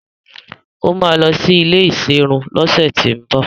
Ó máa lọ sí ilé ìserun lọ́sẹ̀tíbọ̀